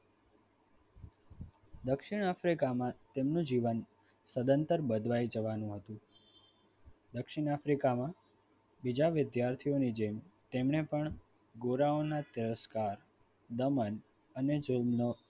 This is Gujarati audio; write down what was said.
દક્ષિણ Africa માં તેમનું જીવન સદંતર બદલાઈ જવાનું હતું દક્ષિણ Africa માં બીજા વિદ્યાર્થીઓની જેમ એમણે પણ ઘોડાઓના તિરસ્કાર દમન અને જુલ્મનો